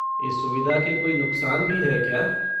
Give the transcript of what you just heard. इस सुविधा के कोई नुक़सान भी हैं क्या?